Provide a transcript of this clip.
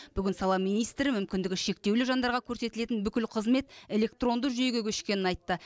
бүгін сала министрі мүмкіндігі шектеулі жандарға көрсетілетін бүкіл қызмет электронды жүйеге көшкенін айтты